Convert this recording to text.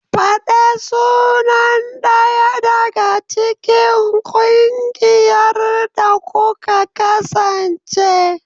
Fada sunan ɗaya daga cikin ƙungiyar da kuka kasance.